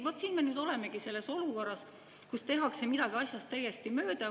Vot siin me nüüd olemegi selles olukorras, kus tehakse midagi asjast täiesti mööda.